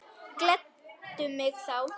Gleddu mig þá.